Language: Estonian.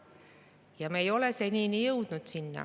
Aga me ei ole senini jõudnud sinna.